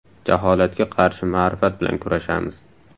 Jaholatga qarshi ma’rifat bilan kurashamiz!